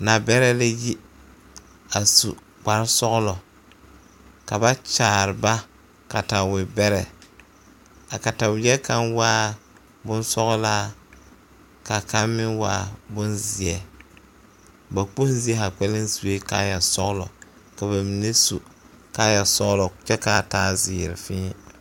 Nabɛrɛ la yi a su kpare sɔglɔ ka ba kyaare ba katawebɛrɛ a kataweɛ kaŋ waa boŋ sɔglaa ka kaŋ meŋ waa boŋ zeɛ ba kpoŋ zie zaa sue kaaya sɔglɔ ka ba mine kaaya sɔglɔ kyɛ ka a taa zeere fee.